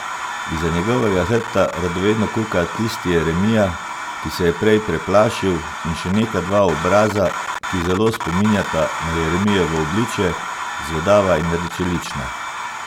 Izza njegovega hrbta radovedno kuka tisti Jeremija, ki se je prej preplašil, in še neka dva obraza, ki zelo spominjata na Jeremijevo obličje, zvedava in rdečelična.